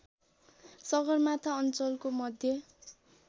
सगरमाथा अञ्चलको मध्य